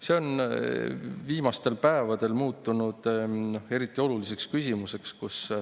See on viimastel päevadel muutunud eriti oluliseks küsimuseks.